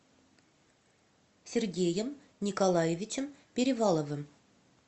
сергеем николаевичем переваловым